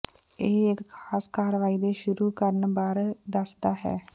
ਇਹ ਇੱਕ ਖਾਸ ਕਾਰਵਾਈ ਦੇ ਸ਼ੁਰੂ ਕਰਨ ਬਾਰੇ ਦੱਸਦਾ ਹੈ